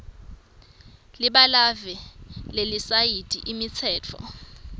libalave lelisayithi imitsetfo